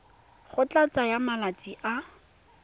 go tla tsaya malatsi a